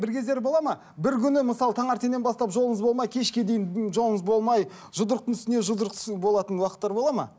бір кездері болады ма бір күні мысалы таңертеңнен бастап жолыңыз болмай кешке дейін жолыңыз болмай жұдырықтың үстіне жұдырық болатын уақыттар болады ма